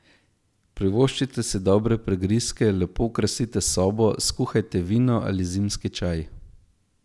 Privoščite si dobre prigrizke, lepo okrasite sobo, skuhajte vino ali zimski čaj.